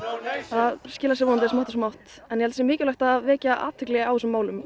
það skilar sér vonandi smátt og smátt en ég held sé mikilvægt að vekja athygli á þessum málum